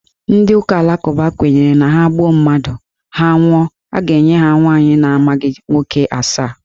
Ndị ụka alakụba kwenyere na ha gbuo mmadụ, ha nwụọ, a ga-enye ha nwaanyị na amaghị nwoke asaa.